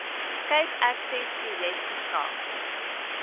cape accessprojek verskaf